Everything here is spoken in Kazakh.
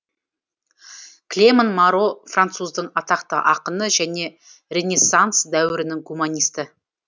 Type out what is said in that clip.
клеман маро француздың атақты ақыны және ренессанс дәуірінің гуманисті